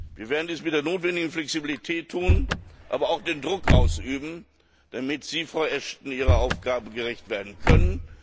Wir werden dies mit der notwendigen Flexibilität tun, aber auch Druck ausüben, damit Sie, Frau Ashton, Ihrer Aufgabe gerecht werden können.